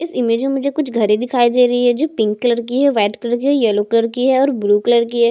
इस इमेज में मुझे कुछ घरे दिखाई दे रही है जो पिंक कलर की है वाइट कलर की है और येलो कलर की है ब्लू कलर की है।